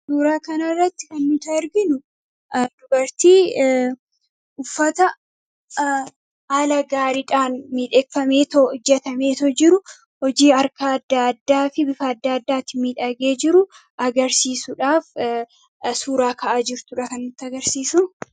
Suuraa kanarratti kan nuti arginu dubartii uffata haala gaariidhaan miidhagfameetoo hojjatamee jiru, hojii harkaa adda addaafi bifa adda addaatiin miidhagee jiru agarsiisudhaf Suuraa ka'aa jirtudha kan nutti agarsiisu.